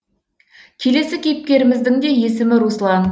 келесі кейіпкеріміздің де есімі руслан